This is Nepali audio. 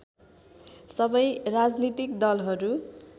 सबै राजनीतिक दलहरू